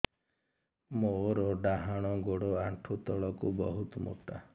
ମୋର ଡାହାଣ ଗୋଡ ଆଣ୍ଠୁ ତଳୁକୁ ବହୁତ ମୋଟା